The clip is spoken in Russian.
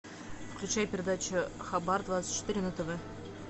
включай передачу хабар двадцать четыре на тв